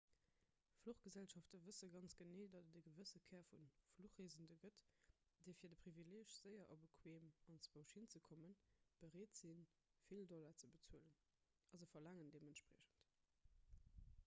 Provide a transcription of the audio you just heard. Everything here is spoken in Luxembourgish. fluchgesellschafte wësse ganz genee datt et e gewësse kär vu fluchreesende gëtt déi fir de privileeg séier a bequeem anzwousch hinzekommen bereet sinn vill dollar ze bezuelen a se verlaangen deementspriechend